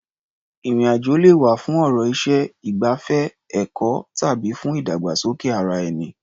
Ìrìn-àjò lè wá̀ fún ọ̀rọ̀ iṣẹ́, ìgbafẹ́, ẹ̀kọ́ tàbí fún ìdàgbàsókè ara-ẹni.